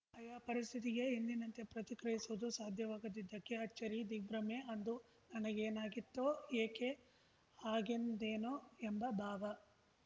ಆಯಾ ಪರಿಸ್ಥಿತಿಗೆ ಎಂದಿನಂತೆ ಪ್ರತಿಕ್ರಿಯಿಸುವುದು ಸಾಧ್ಯವಾಗದಿದ್ದಕ್ಕೆ ಅಚ್ಚರಿದಿಗ್ಭ್ರಮೆ ಅಂದು ನನಗೇನಾಗಿತ್ತೋ ಏಕೆ ಹಾಗೆಂದೆನೋ ಎಂಬ ಭಾವ